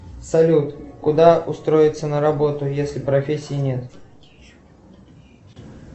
салют куда устроиться на работу если профессии нет